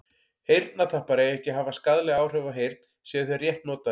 eyrnatappar eiga ekki að hafa skaðleg áhrif á heyrn séu þeir rétt notaðir